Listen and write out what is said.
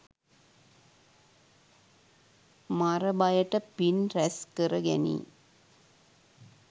මර බයට පින් රැස් කරගැනී